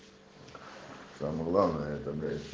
самое главное это бля